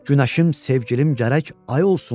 Günəşim, sevgilim gərək ay olsun.